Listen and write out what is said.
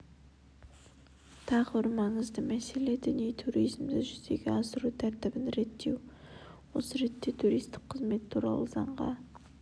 тағы бір маңызды мәселе діни туризмді жүзеге асыру тәртібін реттеу осы ретте туристік қызмет туралы заңға